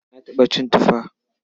Na taɓa cin tufa.